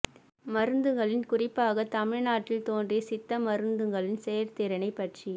மருந்துகளின் குறிப்பாக தமிழ்நாட்டில் தோன்றிய சித்தா மருந்துகளின் செயல்திறனைப் பற்றி